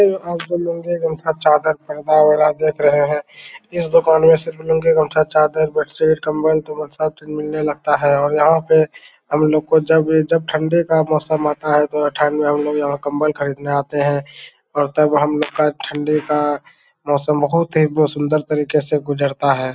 आपलोग लूंगी गमछा चादर पर्दा वगेरा देख रहे हैं इस दुकान में केवल लूंगा गमछा चादर बेडसीट कंबल-तंबल सब चीज मिलने लगता है और यहां पे हमलोग को जब भी जब ठंडी का मौसम आता है तो हमलोग कंबल खरीदने आते हैं और तब हम लोग का ठंडी का मौसम बहुत ही सुंदर तरीके से गुजरता है।